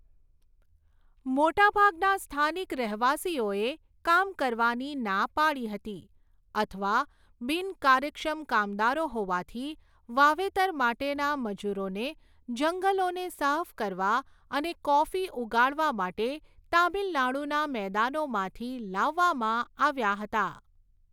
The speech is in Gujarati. મોટાભાગના સ્થાનિક રહેવાસીઓએ કામ કરવાની ના પાડી હતી અથવા બિનકાર્યક્ષમ કામદારો હોવાથી, વાવેતર માટેના મજૂરોને જંગલોને સાફ કરવા અને કોફી ઉગાડવા માટે તામિલનાડુના મેદાનોમાંથી લાવવામાં આવ્યા હતા.